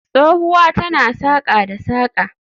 Tsohuwa tana saƙa da saƙa